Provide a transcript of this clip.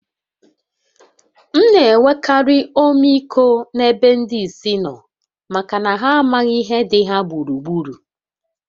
M na-enwekarị ọmịiko n’ebe ndị ìsì nọ maka na ha amaghị ihe dị ha gburugburu